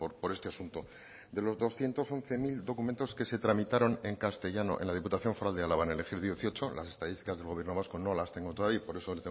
por este asunto de los doscientos once mil documentos que se tramitaron en castellano en la diputación foral de álava en el ejercicio dieciocho las estadísticas del gobierno vasco no las tengo todavía y por eso